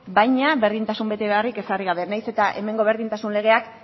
baina berdintasun betebeharrik ezarri gabe nahiz eta hemengo berdintasun legeak